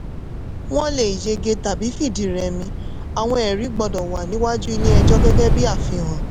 wọ́n lè yege tàbí fìdí rẹ́mi àwọn ẹ̀rí gbọ́dọ̀ wà níwájú ilé ẹjọ́ gẹ́gẹ́ bí àfihàn.